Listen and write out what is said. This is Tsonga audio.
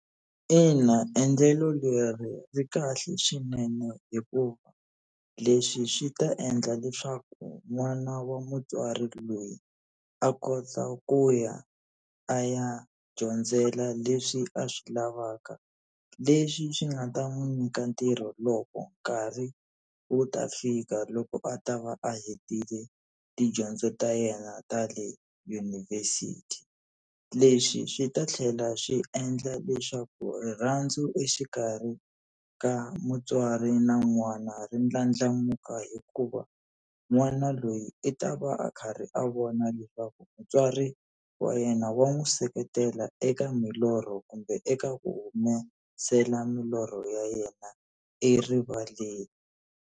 Ina, endlelo leri ri kahle swinene hikuva leswi swi ta endla leswaku n'wana wa mutswari loyi a kota ku ya a ya dyondzela leswi a swi lavaka, leswi swi nga ta n'wi nyika ntirho loko nkarhi wu ta fika loko a ta va a hetile tidyondzo ta yena ta le yunivhesiti. Leswi swi ta tlhela swi endla leswaku rirhandzu exikarhi ka mutswari na n'wana ri ndlandlamuka hikuva n'wana loyi i ta va va a karhi a vona leswaku mutswari wa yena wa n'wi seketela eka milorho kumbe eka ku humesela milorho ya yena erivaleni.